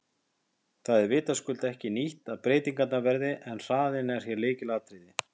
Það er vitaskuld ekki nýtt að breytingar verði en hraðinn er hér lykilatriði.